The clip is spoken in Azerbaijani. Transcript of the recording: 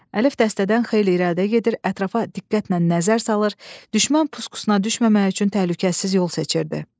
Əlif dəstədən xeyli irəlidə gedir, ətrafa diqqətlə nəzər salır, düşmən puskusuna düşməmək üçün təhlükəsiz yol seçirdi.